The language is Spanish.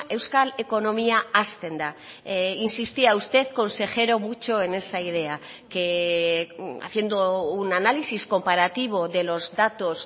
euskal ekonomia hazten da insistía usted consejero mucho en esa idea que haciendo un análisis comparativo de los datos